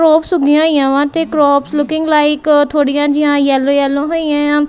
Crops ਉਗੀਆਂ ਹੋਈਆ ਵਾਂ ਤੇ ਕਰੋਪਸ ਲੁਕਿੰਗ ਲਾਈਕ ਥੋੜੀਆਂ ਜਿਹੀਆਂ ਯੈਲੋ ਯੈਲੋ ਹੋਈਆਂ ਆ।